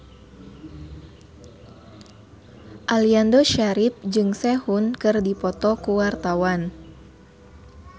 Aliando Syarif jeung Sehun keur dipoto ku wartawan